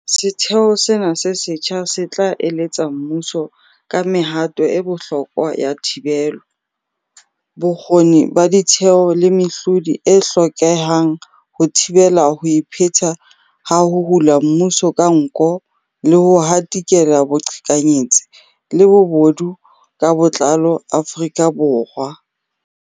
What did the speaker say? Setheo sena se setjha se tla eletsa mmuso ka mehato e bohlokwa ya thibelo, bokgoni ba ditheo le mehlodi e hlokehang ho thibela ho ipheta ha ho hula mmuso ka nko le ho hatikela boqhekanyetsi le bobodu ka botlalo Afrika Borwa.